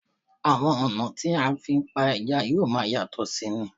Àwọn ọ̀nà tí a fi ń pa ẹja yóò máa yàtọ̀ sí i ni